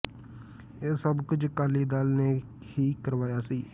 ਇਹ ਸਭ ਕੁਝ ਅਕਾਲੀ ਦਲ ਨੇ ਹੀ ਕਰਵਾਇਆ ਸੀ